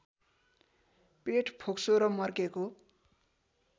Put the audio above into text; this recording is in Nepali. पेट फोक्सो र मर्केको